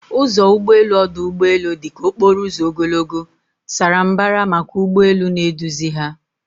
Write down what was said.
Ụzọ ụgbọ elu ọdụ ụgbọ elu dị ka okporo ụzọ ogologo, sara mbara maka ụgbọ elu na-eduzi ha